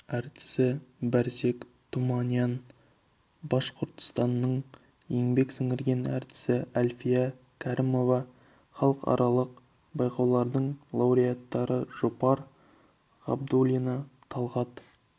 әртісі барсег туманян башқұртстанның еңбек сіңірген әртісі әлфия кәрімова халықаралық байқаулардың лауреаттары жұпар ғабдуллина талғат